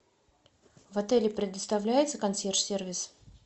в отеле предоставляется консьерж сервис